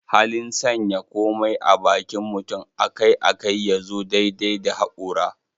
Halin sanya komai a bakin mutum akai-akai ya zo daidai da hakora.